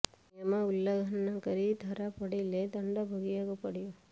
ନିୟମ ଉଲ୍ଲଂଘନ କରି ଧରା ପଡ଼ିଲେ ଦଣ୍ଡ ଭୋଗିବାକୁ ପଡ଼ିବ